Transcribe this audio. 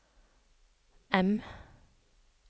M